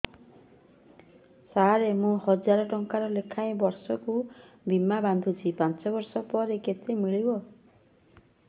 ସାର ମୁଁ ହଜାରେ ଟଂକା ଲେଖାଏଁ ବର୍ଷକୁ ବୀମା ବାଂଧୁଛି ପାଞ୍ଚ ବର୍ଷ ପରେ କେତେ ମିଳିବ